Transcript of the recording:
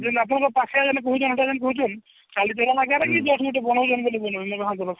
ଯେମତି ଆପଣଙ୍କ ପାଖେ ବହୁତଜନ ଅଲଗା ଯେମନ କହୁଛନ କି just ଗୁଟେ ବନୋଉଛନ ବୋଲି